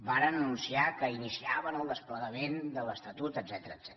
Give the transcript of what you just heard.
varen anunciar que iniciaven el desplegament de l’estatut etcètera